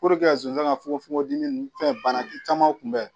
zonzan ka fukomi fɛn bana caman kun bɛ